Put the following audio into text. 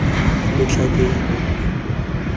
letlhakeng